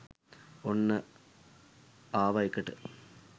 ඔන්න අවාඑකට.